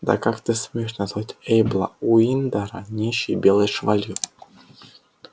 да как ты смеешь называть эйбла уиндера нищей белой швалью